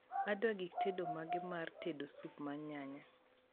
adwa gik tedo mage mar tedo sup mar nyanya